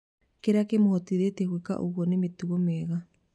Kĩrĩa kĩmohotithĩtie gwĩka ũguo nĩ mĩtugo mĩega